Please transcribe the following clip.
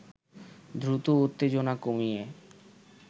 দ্রুত উত্তেজনা কমিয়ে